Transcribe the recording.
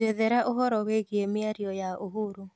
njethera ũhoro wĩĩgĩe mĩarĩo ya uhuru